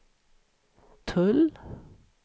tull